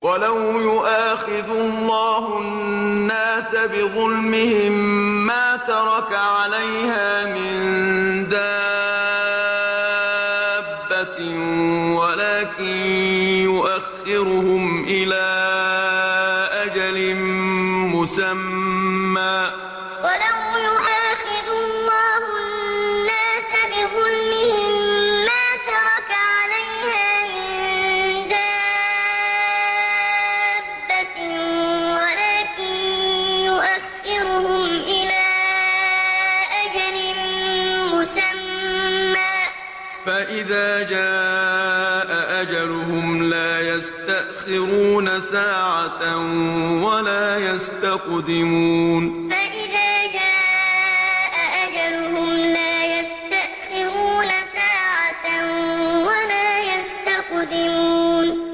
وَلَوْ يُؤَاخِذُ اللَّهُ النَّاسَ بِظُلْمِهِم مَّا تَرَكَ عَلَيْهَا مِن دَابَّةٍ وَلَٰكِن يُؤَخِّرُهُمْ إِلَىٰ أَجَلٍ مُّسَمًّى ۖ فَإِذَا جَاءَ أَجَلُهُمْ لَا يَسْتَأْخِرُونَ سَاعَةً ۖ وَلَا يَسْتَقْدِمُونَ وَلَوْ يُؤَاخِذُ اللَّهُ النَّاسَ بِظُلْمِهِم مَّا تَرَكَ عَلَيْهَا مِن دَابَّةٍ وَلَٰكِن يُؤَخِّرُهُمْ إِلَىٰ أَجَلٍ مُّسَمًّى ۖ فَإِذَا جَاءَ أَجَلُهُمْ لَا يَسْتَأْخِرُونَ سَاعَةً ۖ وَلَا يَسْتَقْدِمُونَ